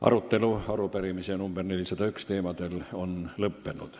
Arutelu arupärimise nr 401 teemal on lõppenud.